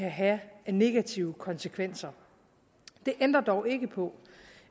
have negative konsekvenser det ændrer dog ikke på